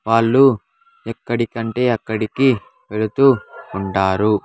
వాళ్ళు ఎక్కడికంటే అక్కడికి వెల్తు ఉంటారు.